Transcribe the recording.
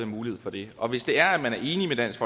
mulighed for det og hvis det er at man er enig med dansk